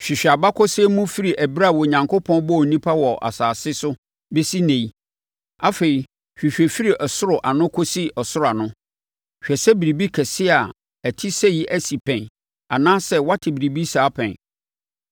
Hwehwɛ abakɔsɛm mu firi ɛberɛ a Onyankopɔn bɔɔ nnipa wɔ asase so bɛsi ɛnnɛ yi. Afei, hwehwɛ firi ɔsoro ano kɔsi ɔsoro ano. Hwɛ sɛ biribi kɛseɛ a ɛte sɛ yei asi pɛn anaasɛ woate biribi saa pɛn?